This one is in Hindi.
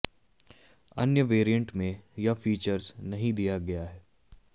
अन्य वैरिएंट में यह फीचर्स नहीं दिया गया है